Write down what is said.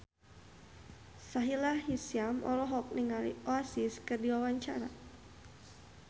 Sahila Hisyam olohok ningali Oasis keur diwawancara